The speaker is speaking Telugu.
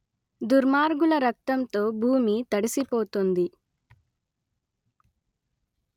దుర్మార్గుల రక్తంతో భూమి తడుసిపోతుంది